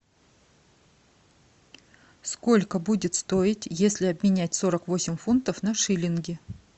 сколько будет стоить если обменять сорок восемь фунтов на шиллинги